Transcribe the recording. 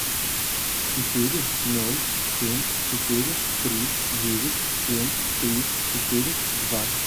четыре ноль семь четыре три девять семь три четыре два